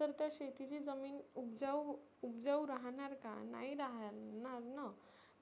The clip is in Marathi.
तर त्या शेतीची जमीन उबजाऊ उबजाऊ राहणार का? नाही राहणार ना.